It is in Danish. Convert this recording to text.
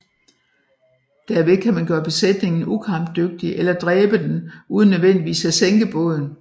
Derved kan man gøre besætningen ukampdygtig eller dræbe den uden nødvendigvis at sænke båden